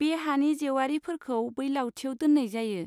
बे हानि जेवारिफोरखौ बै लावथियाव दोन्नाय जायो।